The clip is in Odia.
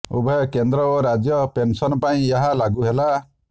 ଉଭୟ କେନ୍ଦ୍ର ଓ ରାଜ୍ୟ ପେନସନ ପାଇଁ ଏହା ଲାଗୁ ହେଲା